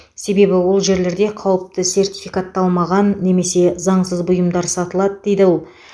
себебі ол жерлерде қауіпті сертификатталмаған немесе заңсыз бұйымдар сатылады дейді ол